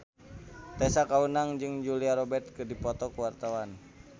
Tessa Kaunang jeung Julia Robert keur dipoto ku wartawan